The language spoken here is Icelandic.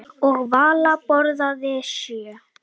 Og Vala borðaði sjö.